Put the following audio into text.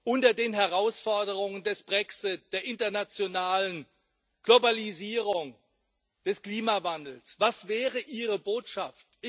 Unter den Herausforderungen des Brexit, der internationalen Globalisierung, des Klimawandels was wäre ihre Botschaft?